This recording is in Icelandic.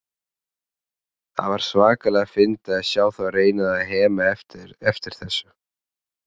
Það var svakalega fyndið að sjá þá reyna að hema eftir þessu.